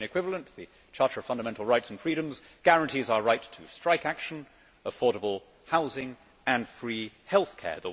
The European equivalent the Charter of Fundamental Rights and Freedoms guarantees our right to strike action, affordable housing and free healthcare.